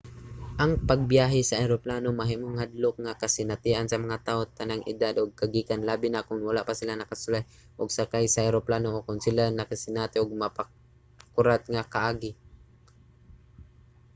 ang pagbiyahe sa eroplano mahimong hadlok nga kasinatian sa mga tawo sa tanang edad ug kagikan labi na kon wala pa sila nakasulay og sakay sa eroplano o kon sila nakasinati og makapakurat nga kaagi